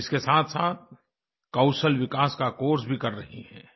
वे इसके साथसाथ कौशल विकास का कोर्स भी कर रही हैं